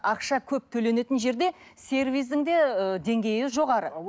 ақша көп төленетін жерде сервистің де ыыы деңгейі жоғары